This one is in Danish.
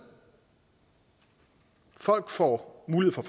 folk får mulighed for